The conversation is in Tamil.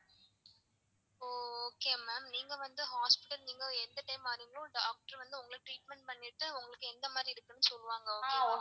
ஓ okay ma'am நீங்க வந்து hospital நீங்க எந்த time வரிங்களோ doctor வந்து உங்கள treatment பண்ணிட்டு உங்களுக்கு எந்த மாதிரி இருக்கு னு சொல்லுவாங்க okay ங்களா?